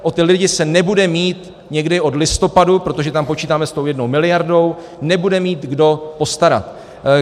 O ty lidi se nebude mít někdy od listopadu, protože tam počítáme s tou jednou miliardou, nebude mít kdo postarat.